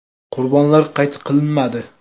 Qurbonlar qayd qilinmadi.